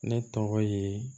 Ne tɔgɔ ye